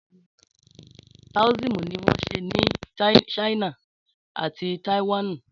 Táóísímù ni won se ni Sáínà àti Tàìwánùn